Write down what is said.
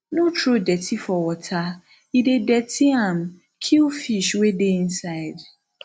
no throw dirty for water e dey dirty am kill fish wey dey inside